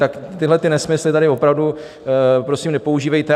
Takže tyhlety nesmysly tady opravdu prosím nepoužívejte.